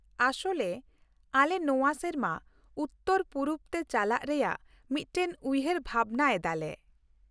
ᱟᱥᱚᱞᱨᱮ, ᱟᱞᱮ ᱱᱚᱶᱟ ᱥᱮᱨᱢᱟ ᱩᱛᱛᱚᱨ ᱯᱩᱨᱩᱵ ᱛᱮ ᱪᱟᱞᱟᱜ ᱨᱮᱭᱟᱜ ᱢᱤᱫᱴᱟᱝ ᱩᱭᱷᱟᱹᱨ ᱵᱷᱟᱵᱱᱟ ᱮᱫᱟᱞᱮ ᱾